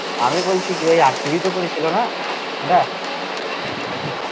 আমি বলিছিকি ওই RCB ই তো করেছিলোনা ওটা